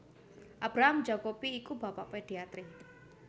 Abraham Jacobi iku bapak pediatri